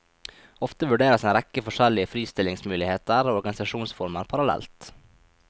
Ofte vurderes en rekke forskjellige fristillingsmuligheter og organisasjonsformer parallellt.